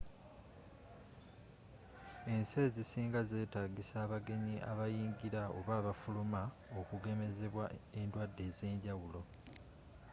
ensi ezisinga zetagisa abagenyi abayingila oba abafuluma okugemezibwa endwadde ezenjawulo